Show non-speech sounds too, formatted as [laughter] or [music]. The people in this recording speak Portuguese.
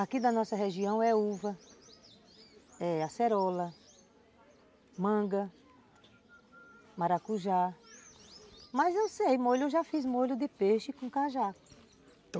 Aqui da nossa região é uva, é acerola, manga, maracujá, mas eu sei molho, eu já fiz molho de peixe com cajá [unintelligible]